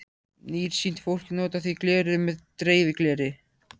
Nærsýnt fólk notar því gleraugu með dreifigleri.